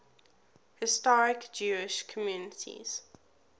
historic jewish communities